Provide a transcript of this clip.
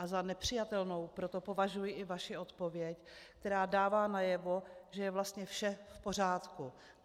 A za nepřijatelnou proto považuji i vaši odpověď, která dává najevo, že je vlastně vše v pořádku.